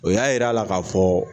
O y'a yira la ka fɔ.